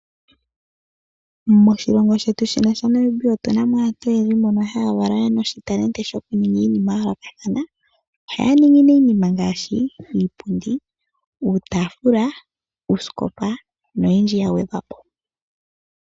Moshilongo shetu shino shaNamibia otuna mo aantu oyendji mbono haa valwa ye na oshintalenti shokuninga iinima ya yoolokathana ohaya ningi nee iinima ngaashi iipundi uuutaafula noyindji ya gwedhwa po.